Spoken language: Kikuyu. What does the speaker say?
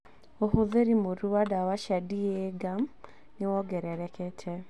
ũhũthĩri mũũru wa dawa cia d. e. a. guam nĩ wongererekete